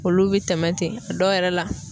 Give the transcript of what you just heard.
Olu be tɛmɛ ten a dɔw yɛrɛ la